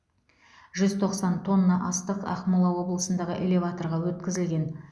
жүз тоқсан тонна астық ақмола облысындағы элеваторға өткізілген